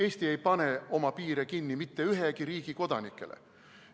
Eesti ei pane oma piire kinni mitte ühegi riigi kodanikele.